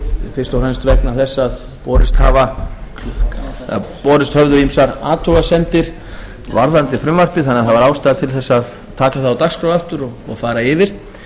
fyrst og fremst vegna þess að borist höfðu ýmsar athugasemdir varðandi frumvarpið þannig að það var ástæða til þess að taka það á dagskrá aftur og fara yfir